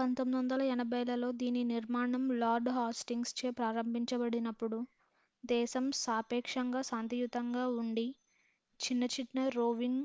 1480లలో దీని నిర్మాణం Lord Hastings చే ప్రారంభించబడినప్పుడు దేశం సాపేక్షంగా శాంతియుతంగా ఉండి చిన్న చిన్న రోవింగ్